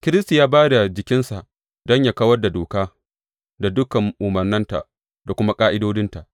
Kiristi ya ba da jikinsa don yă kawar da doka da dukan umarnanta da kuma ƙa’idodinta.